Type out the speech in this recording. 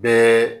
Bɛɛ